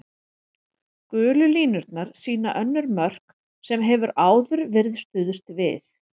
Gulu línurnar sýna önnur mörk sem hefur áður verið stuðst við.